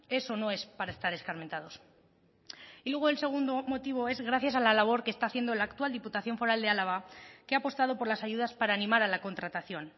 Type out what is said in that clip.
es o no es para estar escarmentados y luego el segundo motivo es gracias a la labor que está haciendo la actual diputación foral de álava que ha apostado por las ayudas para animar a la contratación